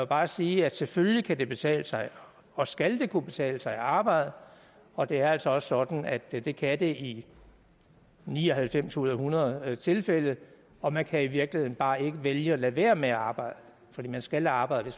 bare sige at selvfølgelig kan det betale sig og skal det kunne betale sig at arbejde og det er altså også sådan at at det kan det i ni og halvfems ud hundrede tilfælde og man kan i virkeligheden bare ikke vælge at lade være med at arbejde fordi man skal arbejde